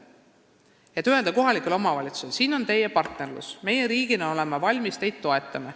Selleks, et öelda kohalikule omavalitsusele – siin on teie partnerlus, riik on valmis teid toetama.